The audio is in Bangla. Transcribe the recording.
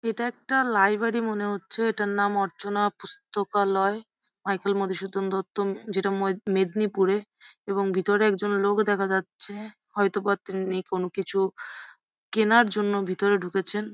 এটা একটা লাইব্রেরি মনে হচ্ছে এটার নাম অর্চনা পুস্তকালই মাইকেল মধু সুদুন দত্ত যেটা মেদিনীপুরে এবং ভেতরে একজন লোক দেখা যাচ্ছে হয়তোবা তিনি কোনো কিছু কেনার জন্য ভেতরে ঢুকেছেন।